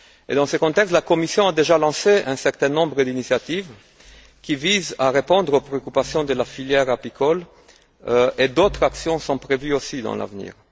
Dans ce contexte, la Commission a déjà lancé un certain nombre d'initiatives qui visent à répondre aux préoccupations de la filière apicole et d'autres actions sont prévues également à l'avenir.